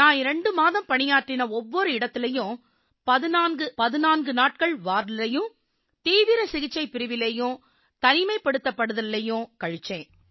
நான் 2 மாதம் பணியாற்றின ஒவ்வொரு இடத்திலயும் 1414 நாட்கள் வார்டிலயும் தீவிர சிகிச்சைப் பிரிவிலயும் தனிமைப்படுத்தல்லயும் கழிச்சேன்